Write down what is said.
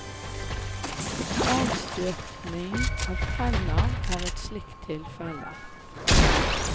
Avstøpning av tenner er et slikt tilfelle.